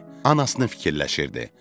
Anasını fikirləşirdi.